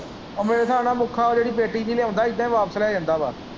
ਮੇਰੇ ਹਿਸਾਬ ਨਾਲ਼ ਮੁੱਖਾ ਜਿਹੜੀ ਪੇਟੀ ਜਿਹੀ ਲਿਆਉਂਦਾ ਇੱਦੇ ਵਾਪਸ ਲੈ ਜਾਂਦਾ ਵਾਂ।